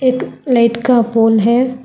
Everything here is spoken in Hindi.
एक लाइट का पोल है।